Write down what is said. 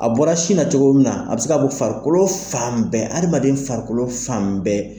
A bɔra sin na cogo min na a bɛ se ka bɔ farikolo fan bɛɛ hadamaden farikolo fan bɛɛ.